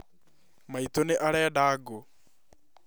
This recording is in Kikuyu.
Maitũ nĩarenda ngũ